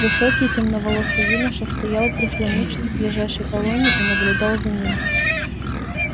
высокий темноволосый юноша стоял прислонившись к ближайшей колонне и наблюдал за ним